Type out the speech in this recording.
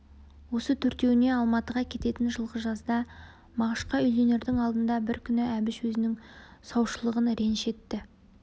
осы төртеуіне алматыға кететін жылғы жазда мағышқа үйленердің алдында бір күні әбіш өзінің саушылығын реніш етті